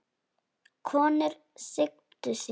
Konur signdu sig.